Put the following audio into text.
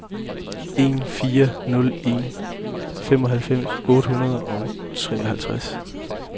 en fire nul en femoghalvfems otte hundrede og treoghalvtreds